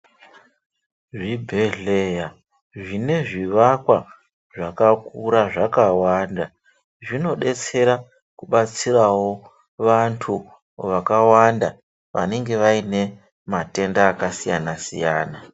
Zvibhedhlera zvinezvivakwa zvakakura zvakawanda zvinodetsera kubatsirawo vantu vakawanda vanenge vaine matenda akasiyana siyana